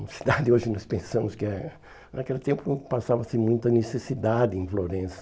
Uma cidade hoje nós pensamos que é... Naquele tempo passava-se muita necessidade em Florença.